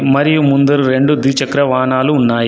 మరియు ముందర రెండు ద్విచక్ర వాహనాలు ఉన్నాయి.